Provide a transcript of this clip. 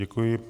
Děkuji.